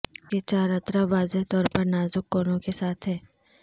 اس کے چار اطراف واضح طور پر نازک کونوں کے ساتھ ہیں